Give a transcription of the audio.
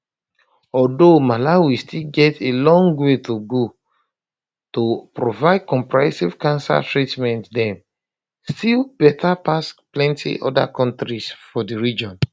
although malawi still get a long way to go to provide comprehensive cancer treatment dem still um better pass plenty oda kontris for di region